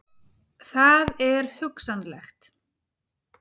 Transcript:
Það er hugsanlegt.